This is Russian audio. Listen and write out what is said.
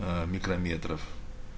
аа микрометров